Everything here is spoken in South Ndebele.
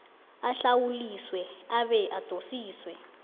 ahlawuliswe abe adosiswe